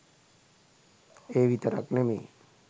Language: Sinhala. ඒ විතරක් නෙමේ